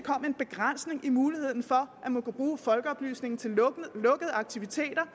en begrænsning af muligheden for at man kunne bruge folkeoplysningen til lukkede aktiviteter